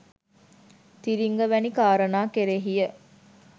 තිරිංග වැනි කාරණා කෙරෙහිය